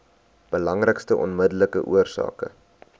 belangrikste onmiddellike oorsake